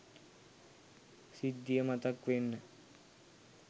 සිද්ධිය මතක් වෙන්න